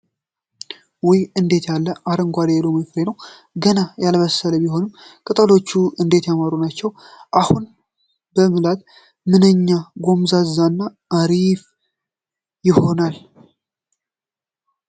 ውይ! እንዴት ያለ አረንጓዴ የሎሚ ፍሬ ነው! ገና ያልበሰለ ቢሆንም! ቅጠሎቹ እንዴት ያማሩ ናቸው! አሁን ብበላው ምንኛ ጎምዛዛ እና አሪፍ ይሆናል!